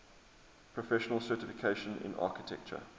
professional certification in architecture